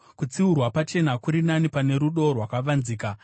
Kutsiurwa pachena kuri nani pane rudo rwakavanzika.